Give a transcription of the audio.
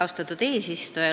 Austatud eesistuja!